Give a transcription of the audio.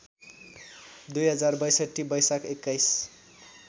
२०६२ वैशाख २१